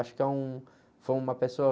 Eu acho que é um, foi uma pessoa...